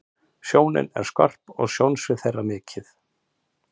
Sjónin er skörp og sjónsvið þeirra mikið.